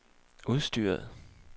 udstyret